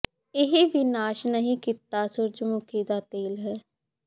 ਇਹ ਵੀ ਨਾਸ਼ ਨਹੀਂ ਕੀਤਾ ਸੂਰਜਮੁਖੀ ਦਾ ਤੇਲ ਹੈ